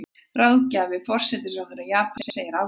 Ráðgjafi forsætisráðherra Japans segir af sér